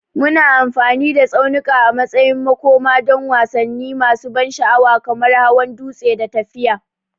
Muna amfani da tsaunuka a matsayin makoma don wasanni masu ban sha'awa kamar hawan dutse da tafiya.